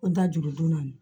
Ko n da juru don naani